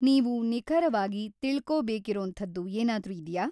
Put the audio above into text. ನೀವು ನಿಖರವಾಗಿ ತಿಳ್ಕೊಬೇಕಿರೋಂಥದ್ದು ಏನಾದ್ರೂ ಇದ್ಯಾ?